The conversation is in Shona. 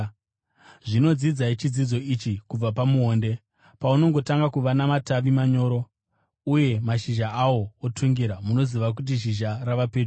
“Zvino dzidzai chidzidzo ichi kubva pamuonde: Paunongotanga kuva namatavi manyoro uye mashizha awo otungira, munoziva kuti zhizha rava pedyo.